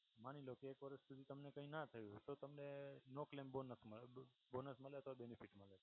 માની લો કે એક વર્ષ સુધી તમને કઈ ના થયું હોય તો તમને નો ક્લેમ બોનસ મળે. બોનસ મળે તો બેનિફિટ મળે.